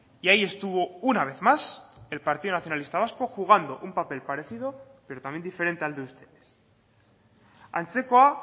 y ahí estuvo una vez más el partido nacionalista vasco jugando un papel parecido pero también diferente al de ustedes antzekoa